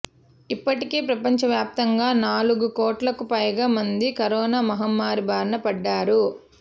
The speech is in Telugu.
ఇప్పటికే ప్రపంచవ్యాప్తంగా నాలుగు కోట్లకు పైగా మంది కరోనా మహమ్మారి బారిన పడ్డారు